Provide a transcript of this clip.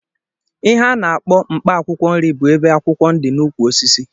Ihe a na-akpọ mkpaakwụkwọ nri bụ ebe akwụkwọ dị n'ụkwụ osisi